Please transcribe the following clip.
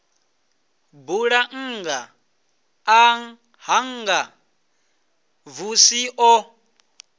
bulannga ḽa hanga xvusi o